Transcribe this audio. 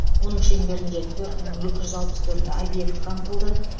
оның шеңберінде төрт мың екі жүз алпыс төрт объект қамтылды